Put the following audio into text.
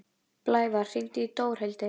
Blævar, hringdu í Dórhildi.